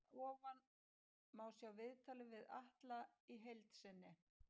Hér að ofan má sjá viðtalið við Atla í heild sinni.